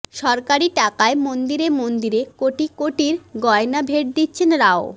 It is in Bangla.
সরকারি টাকায় মন্দিরে মন্দিরে কোটি কোটির গয়না ভেট দিচ্ছেন রাও